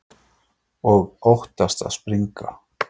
Og óttast að springa.